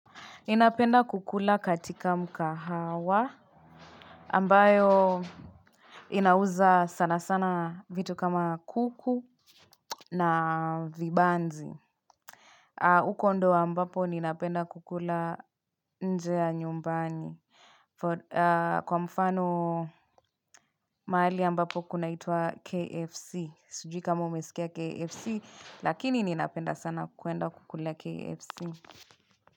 Ninapenda kukula katika mkahawa ambayo inauza sana sana vitu kama kuku na vibanzi uko ndo ambapo ninapenda kukula nje ya nyumbani Kwa mfano mahali ambapo kuna itwa KFC Sijui kama umesikia KFC lakini ninapenda sana kuenda kukula KFC.